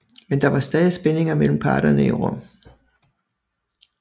Men der var stadig spændinger mellem parterne i Rom